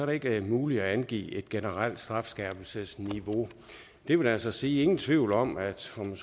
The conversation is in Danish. det ikke muligt at angive et generelt strafskærpelsesniveau det vil altså sige ingen tvivl om at straffen